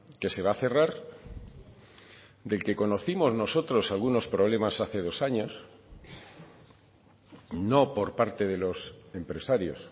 que se va a cerrar del que conocimos nosotros algunos problemas hace dos años no por parte de los empresarios